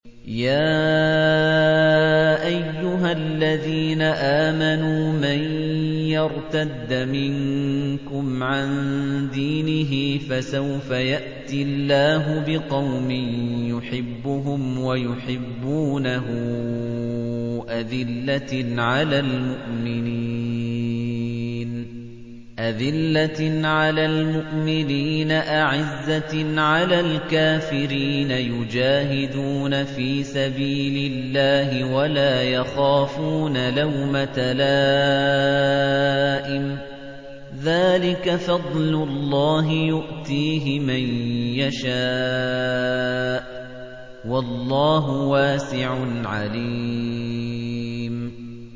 يَا أَيُّهَا الَّذِينَ آمَنُوا مَن يَرْتَدَّ مِنكُمْ عَن دِينِهِ فَسَوْفَ يَأْتِي اللَّهُ بِقَوْمٍ يُحِبُّهُمْ وَيُحِبُّونَهُ أَذِلَّةٍ عَلَى الْمُؤْمِنِينَ أَعِزَّةٍ عَلَى الْكَافِرِينَ يُجَاهِدُونَ فِي سَبِيلِ اللَّهِ وَلَا يَخَافُونَ لَوْمَةَ لَائِمٍ ۚ ذَٰلِكَ فَضْلُ اللَّهِ يُؤْتِيهِ مَن يَشَاءُ ۚ وَاللَّهُ وَاسِعٌ عَلِيمٌ